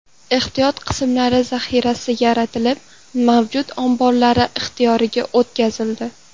Ehtiyot qismlari zaxirasi yaratilib, mavjud omborlar ixtiyoriga o‘tkazildi.